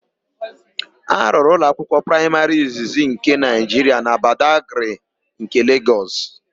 A rụrụ ụlọakwụkwọ praịmarị izizi nke Naịjiria na Badagrị nke Legọs.